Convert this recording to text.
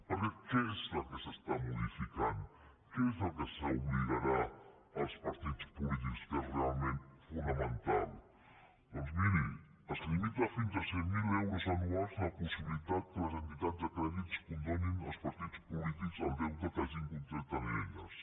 perquè què és el que es modifica a què s’obligarà els partits polítics que és realment fonamental doncs miri es limita fins a cent mil euros anuals la possibilitat que les entitats de crèdit condonin als partits polítics el deute que hagin contret amb elles